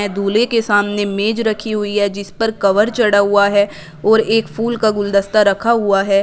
दूल्हे के सामने मेज रखी हुई है जिस पर कवर चढ़ा हुआ है और एक फूल का गुलदस्ता रखा हुआ है।